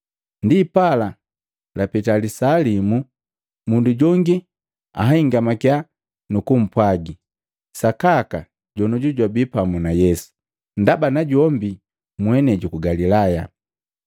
Ndipala lapeta lisaa limu, mundu jongi anhingamakiya nu kumpwaji, “Sakaka jonouju jwabii pamu na Yesu, ndaba na jombi mwenei juku Galilaya!”